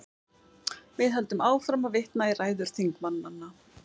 Við höldum áfram að vitna í ræður þingmanna.